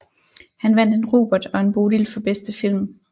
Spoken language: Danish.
Han vandt en Robert og en Bodil for bedste film